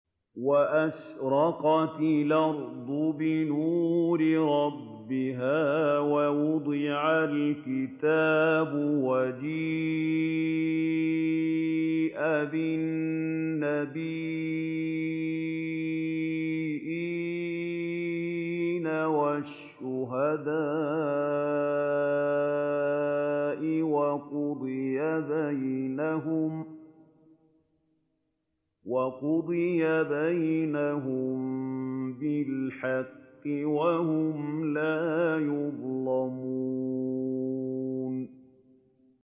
وَأَشْرَقَتِ الْأَرْضُ بِنُورِ رَبِّهَا وَوُضِعَ الْكِتَابُ وَجِيءَ بِالنَّبِيِّينَ وَالشُّهَدَاءِ وَقُضِيَ بَيْنَهُم بِالْحَقِّ وَهُمْ لَا يُظْلَمُونَ